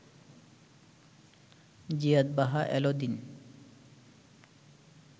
Ziyad Baha El দিন